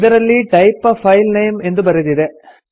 ಇದರಲ್ಲಿ type a file name ಎಂದು ಬರೆದಿದೆ